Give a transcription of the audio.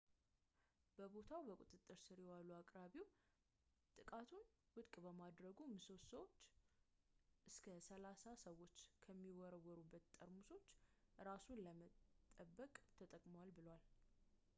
በቦታው በቁጥጥር ስር የዋለው አቅራቢው ጥቃቱን ውድቅ በማድረጉ ምሰሶውን እስከ ሰላሳ ሰዎች ከሚወረወሩበት ጠርሙሶች እራሱን ለመጠበቅ ተጠቅሟል ብሏል